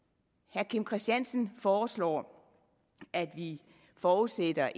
herre kim christiansen foreslår at vi forudsætter